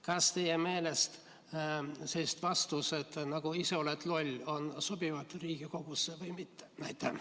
Kas teie meelest sellised vastused nagu "Ise oled loll" sobivad Riigikogusse või mitte?